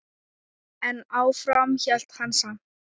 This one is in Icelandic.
En áfram hélt hann samt.